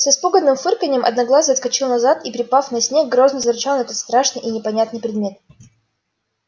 с испуганным фырканьем одноглазый отскочил назад и припав на снег грозно зарычал на этот страшный и непонятный предмет